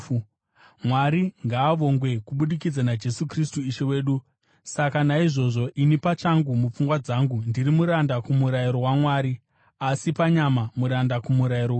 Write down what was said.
Mwari ngaavongwe kubudikidza naJesu Kristu Ishe wedu! Saka naizvozvo, ini pachangu, mupfungwa dzangu, ndiri muranda kumurayiro waMwari, asi panyama muranda kumurayiro wechivi.